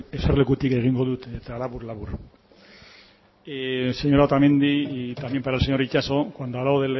eserlekutik egingo dut eta labur labur señora otamendi y también para el señor itxaso cuando he hablado